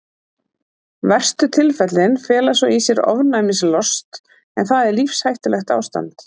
verstu tilfellin fela svo í sér ofnæmislost en það er lífshættulegt ástand